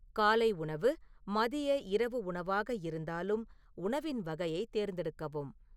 காலை உணவு மதிய இரவு உணவாக இருந்தாலும் உணவின் வகையைத் தேர்ந்தெடுக்கவும்